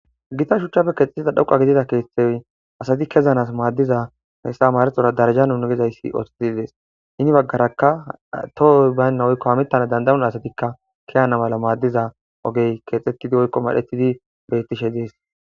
Gita shuchchape keexesida dhoqa gidida keeththey asati kezanas maaddiza hessa marexora daraja unugezayssi othetididees ini baggarakka tohoy baynna oykko hamittana dandawun asatikka kiyana mala maaddiza ogey keexxettidi oykko madhetidi bettishe dees'